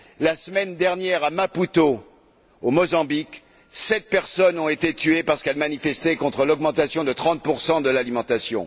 La semaine dernière à Maputo, au Mozambique, sept personnes ont été tuées parce qu'elles manifestaient contre l'augmentation de 30 des prix de l'alimentation.